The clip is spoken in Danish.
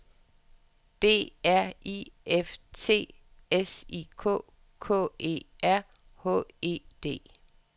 D R I F T S I K K E R H E D